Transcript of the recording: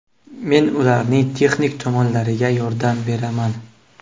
Men ularning texnik tomonlariga yordam beraman.